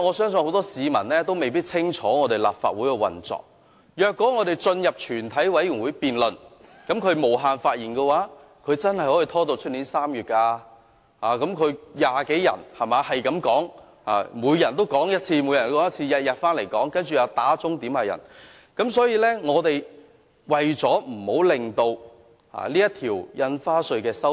很多市民未必清楚我們立法會的運作，即我們進入全委會審議階段後，他們無限次發言的話，真的可以拖至明年3月，因為他們有20多人，可以不斷發言，每天回來發言，加上又要求點算人數等，可以拖很久。